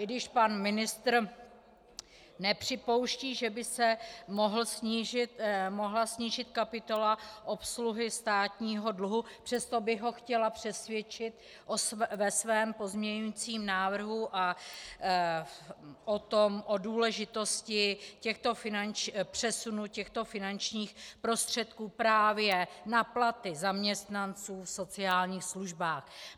I když pan ministr nepřipouští, že by se mohla snížit kapitola obsluhy státního dluhu, přesto bych ho chtěla přesvědčit ve svém pozměňujícím návrhu o důležitosti přesunu těchto finančních prostředků právě na platy zaměstnanců v sociálních službách.